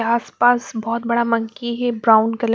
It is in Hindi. आसपास बहुत बड़ा मंकी है ब्राउन कलर --